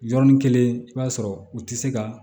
Yɔrɔnin kelen i b'a sɔrɔ u tɛ se ka